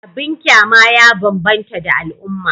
Abin kyama ya bambanta da al'umma